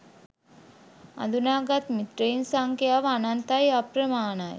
අඳුනාගත් මිත්‍රයින් සංඛ්‍යාව අනන්තයි අප්‍රමාණයි.